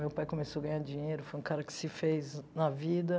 Meu pai começou a ganhar dinheiro, foi um cara que se fez na vida.